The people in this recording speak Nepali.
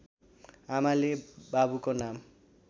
आमाले बाबुको नाम